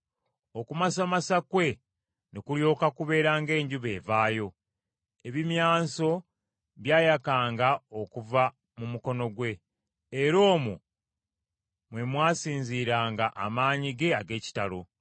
Okumasamasa kwe ne kulyoka kubeera ng’enjuba evaayo. Ebimyanso byayakanga okuva mu mukono gwe, era omwo mwe mwasinziiranga amaanyi ge ag’ekitalo.